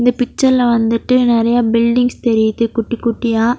இந்த பிக்சர்ல வந்துட்டு நெறைய பில்டிங்ஸ் தெரியுது குட்டி குட்டியா.